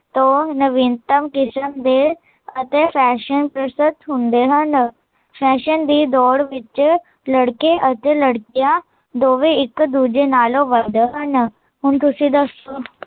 ਤੋਂ ਨਵੀਨਤ ਕਿਸਮ ਦੇ, ਅਤੇ ਫੈਸ਼ਨ ਪਰਸਤ ਹੁੰਦੇ ਹਨ ਫੈਸ਼ਨ ਦੀ ਦੋੜ ਵਿੱਚ ਲੜਕੇ ਅਤੇ ਲੜਕੀਂਆ, ਦੋਵੇ ਇੱਕ ਦੂਜੇ ਨਾਲੋਂ ਵਧਣ, ਹੁਣ ਤੁਸੀਂ ਦੱਸੋ